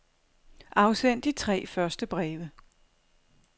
Afsend de tre første breve.